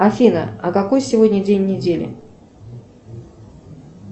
афина а какой сегодня день недели